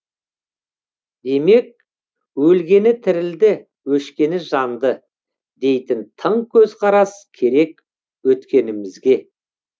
демек өлгені тірілді өшкені жанды дейтін тың көзқарас керек өткенімізге